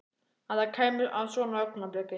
Að það kæmi að svona augnabliki.